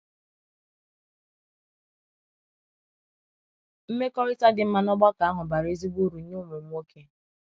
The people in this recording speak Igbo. Mmekọrịta dị mma n’ọgbakọ ahụ bara ezigbo uru nye ụmụ m nwoke.